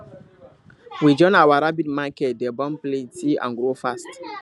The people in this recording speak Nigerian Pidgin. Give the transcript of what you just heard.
we join our rabbit make dem born plenty and grow fast